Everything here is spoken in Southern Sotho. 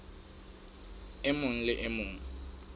e mong le e mong